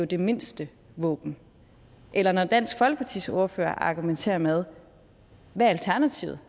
det mindste våben eller når dansk folkepartis ordfører argumenterer med hvad alternativet